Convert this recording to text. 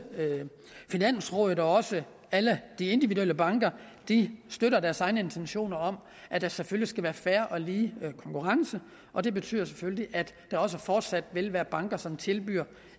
finansrådet og også alle de individuelle banker støtter deres egne intentioner om at der selvfølgelig skal være fair og lige konkurrence og det betyder selvfølgelig at der også fortsat vil være banker som tilbyder